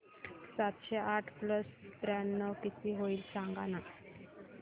सातशे आठ प्लस त्र्याण्णव किती होईल सांगना